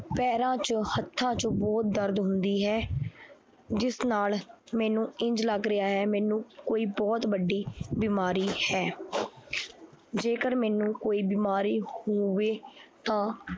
ਪੈਰਾਂ ਚ ਹੱਥਾਂ ਚ ਬਹੁਤ ਦਰਦ ਹੁੰਦੀ ਹੈ, ਜਿਸ ਨਾਲ ਮੈਨੂੰ ਇੰਞ ਲੱਗ ਰਿਹਾ ਹੈ ਮੈਨੂੰ ਕੋਈ ਬਹੁਤ ਵੱਡੀ ਬਿਮਾਰੀ ਹੈ ਜੇਕਰ ਮੈਨੂੰ ਕੋਈ ਬਿਮਾਰੀ ਹੋਵੇ ਤਾਂ